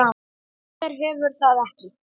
Hver hefur það ekki?